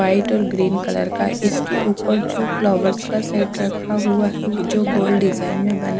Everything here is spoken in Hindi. वाइट और ग्रीन कलर का इसके ऊपर जो फ्लावर्स का सेट रखा हुआ है जो गोल्ड डिजाइन में बना।